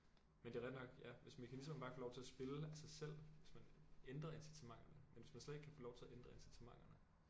Men det er rigtig nok ja hvis mekanismerne bare få lov til at spille af sig selv hvis man ændrer incitamenterne men hvis man slet ikke kan få lov til at ændre incitamenterne